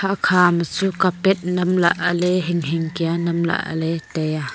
okha ma chu carpet nam lahle hing hing kya nam lahle le tai a.